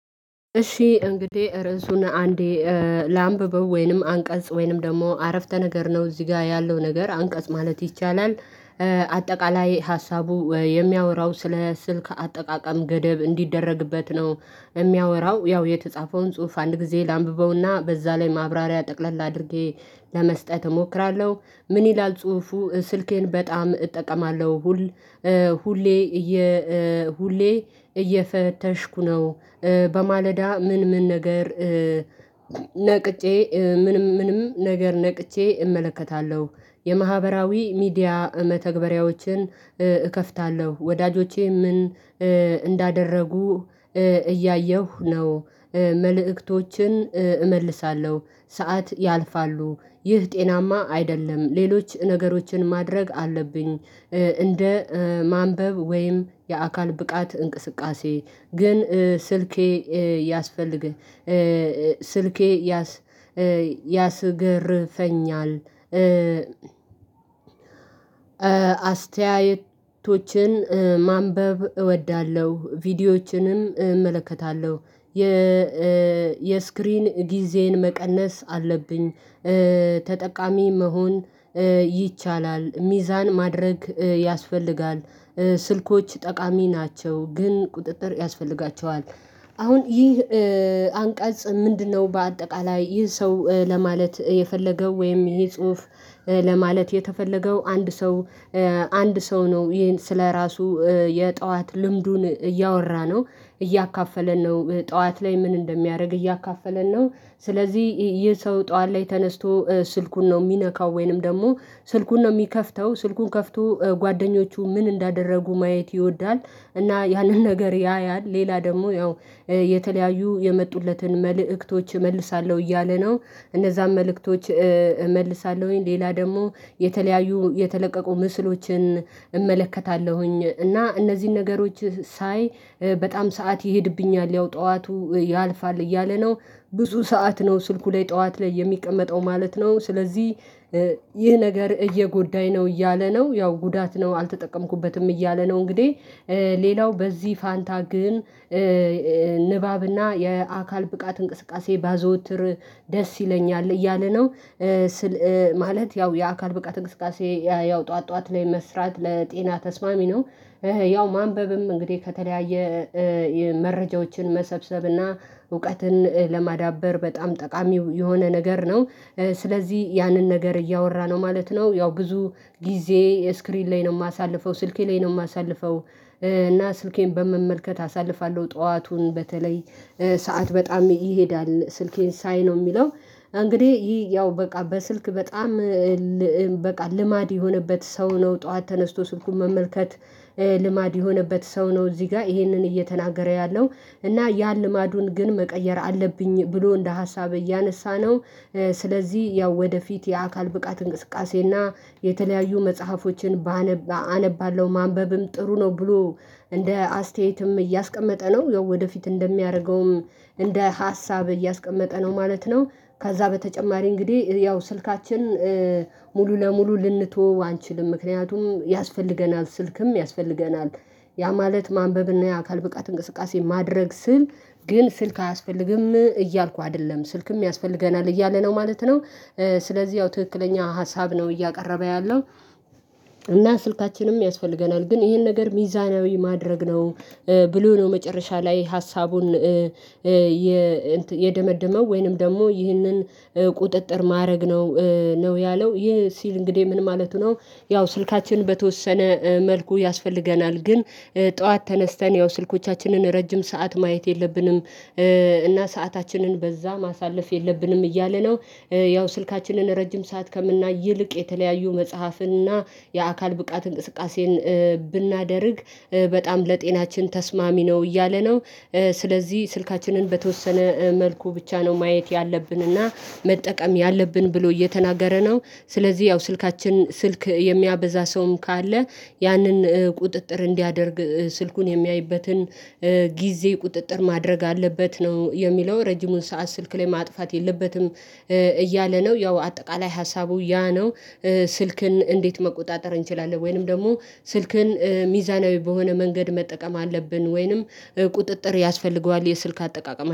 እሺ እንግዲህ ርዕሱን አንዴ ላንብበው ወይንም አንቀጽ ወይንም ደግሞ አረፍተ ነገር ነው እዚህ ጋር ያለው ነገር አንቀጽ ማለት ይቻላል። አጠቃላይ ሀሳቡ የሚያወራው ስለ ስልክ አጠቃቀም ገደብ እንዲደረግበት ነው የሚያወራው ያው የተጻፈውን ጽሁፍ አንድ ጊዜ ላንብበውና በዛ ላይ ማብራሪያ ጠቅለል አድርጌ ለመስጠት እሞክራለሁ። ምን ይላል ጽሁፉ ስልኬን በጣም እጠቀማለሁ። ሁሌ ሁሌ እየፈተሽኩ ነው። በማለዳ ምን ምን ነገር ነቅጬ ምንም ምንም ነገር ነቅቼ እመለከታለሁ። የማህበራዊ ሚዲያ መተግበሪያዎችን እከፍታለሁ ወዳጆቼ ምን እንዳደረጉ እያየሁ ነው። መልእክቶችን እመልሳለሁ ሰዓት ያልፋሉ ይህ ጤናማ አይደለም። ሌሎች ነገሮችን ማድረግ አለብኝ። እንደ ማንበብ ወይም የአካል ብቃት እንቅስቃሴ ግን ስልኬ ያስፈልግ ስልኬ ያስገርፈኛል። አስተያየቶችን ማንበብ እወዳለሁ ቪዲዮዎችንም እመለከታለሁ። የ የስክሪን ጊዜን መቀነስ አለብኝ። ተጠቃሚ መሆን ይቻላል ሚዛን ማድረግ ያስፈልጋል። ስልኮች ጠቃሚ ናቸው ግን ቁጥጥር ያስፈልጋቸዋል። አሁን ይህ አንቀጽ ምንድነው? በአጠቃላይ ይህ ሰው ለማለት የፈለገው ወይም ይሄ ጽሁፍ ለማለት የተፈለገው አንድ ሰው አንድ ሰው ነው ይሄን ስለራሱ የጠዋት ልምዱን እያወራ ነው። እያካፈለን ነው ጠዋት ላይ ምን እንደሚያደርግ እያካፈለን ነው። ስለዚህ ይህ ሰው ጠዋት ተነስቶ ስልኩን ነው የሚነካው ወይንም ደግሞ ስልኩን ነው የሚከፍተው ስልኩን ከፍቶ ጓደኞቹ ምን እንዳደረጉ ማየት ይወዳል እና ያንን ነገር ያያል ሌላ ደግሞ ያው የተለያዩ የመጡለትን መልእክቶች እመልሳለሁ እያለ ነው። እነዛም መልእክቶች እመልሳለሁኝ ሌላ ደግሞ የተለያዩ የተለቀቁ ምስሎችን እመለከታለሁኝ እና እነዚህን ነገሮች ሳይ በጣም ሰዓት ይሄድብኛል ያው ጠዋቱ ያልፋል እያለ ነው። ብዙ ሰዓት ነው ስልኩ ላይ ጠዋት ላይ የሚቀመጠው ማለት ነው። ስለዚህ ይህ ነገር እየጎዳኝ ነው እያለ ነው ያው ጉዳት ነው አልተጠቀምኩበትም እያለ ነው። እንግዲህ ሌላው በዚህ ፋንታ ግን ንባብና የአካል ብቃት እንቅስቃሴ ባዘወትር ደስ ይለኛል እያለ ነው። ማለት ያው የአካል ብቃት እንቅስቃሴ ያው ጠዋት ጠዋት ላይ መስራት ለጤና ተስማሚ ነው። ያው ማንበብም እንግዲህ ከተለያየ መረጃዎችን መሰብሰብና እውቀትን ለማዳበር በጣም ጠቃሚ የሆነ ነገር ነው። ስለዚህ ያንን ነገር እያወራ ነው ማለት ነው። ያው ብዙ ጊዜ ስክሪን ላይ ነው የማሳልፈው ስልኬ ላይ ነው የማሳልፈው። እና ስልኬን በመመልከት አሳልፋለሁ ጠዋቱን በተለይ ሰዓት በጣም ይሄዳል ስልኬን ሳይ ነው የሚለው። እንግዲህ ይሄ ያው በቃ በስልክ በጣም በቃ ልማድ የሆነበት ሰው ነው ጠዋት ተነስቶ ስልኩን መመልከት። ልማድ የሆነበት ሰው ነው እዚህ ጋር ይሄንን እየተናገረ ያለው። እና ያን ልማዱን ግን መቀየር አለብኝ ብሎ እንደ ሀሳብ እያነሳ ነው። ስለዚህ ያው ወደፊት የአካል ብቃት እንቅስቃሴና የተለያዩ መጽሐፎችን ኣነባለው ማንበብም ጥሩ ነው ብሎ እንደ አስተያየትም እያስቀመጠ ነው። ወደፊት እንደሚያደርገውም እንደ ሀሳብ እያስቀመጠ ነው ማለት ነው። ከዛ በተጨማሪ እንግዲህ ያው ስልካችን ሙሉ ለሙሉ ልንተዎው አንችልም ምክንያቱም ያስፈልገናል ስልክም ያስፈልገናል። ያ ማለት ማንበብና የአካል ብቃት እንቅስቃሴ ማድረግ ስል ግን ስልክ አያስፈልግም እያልኩ አይደለም ስልክም ያስፈልገናል እያለ ነው ማለት ነው። ስለዚህ ያው ትክክለኛ ሀሳብ ነው እያቀረበ ያለው። እና ስልካችንም ያስፈልገናል ግን ይሄን ነገር ሚዛናዊ ማድረግ ነው። ብሎ ነው መጨረሻ ላይ ሀሳቡን የደመደመው ወይንም ደግሞ ይህንን ቁጥጥር ማድረግ ነው ነው ያለው ይህ ሲል እንግዲህ ምን ማለቱ ነው? ያው ስልካችን በተወሰነ መልኩ ያስፈልገናል ግን ጠዋት ተነስተን ያው ስልኮቻችንን ረጅም ሰዓት ማየት የለብንም። እና ሰአታችንን በዛ ማሳለፍ የለብንም እያለ ነው። ያው ስልካችንን ረጅም ሰዓት ከምናይ ይልቅ የተለያዩ መጽሐፍና የአካል ብቃት እንቅስቃሴን ብናደርግ በጣም ለጤናችን ተስማሚ ነው እያለ ነው። ስለዚህ ስልካችንን በተወሰነ መልኩ ብቻ ነው ማየት ያለብንና መጠቀም ያለብን ብሎ እየተናገረ ነው። ስለዚህ ያው ስልካችን ስልክ የሚያበዛ ሰውም ካለ ያንን ቁጥጥር እንዲያደርግ ስልኩን የሚያይበትን ጊዜ ቁጥጥር ማድረግ አለበት ነው የሚለው ረጅሙን ሰዓት ስልክ ላይ ማጥፋት የለበትም። እያለ ነው ያው አጠቃላይ ሀሳቡ ያ ነው። ስልክን እንዴት መቆጣጠር እንችላለን? ወይንም ደግሞ ስልክን ሚዛናዊ በሆነ መንገድ መጠቀም አለብን ወይንም ቁጥጥር ያስፈልገዋል የስልክ አጠቃቀም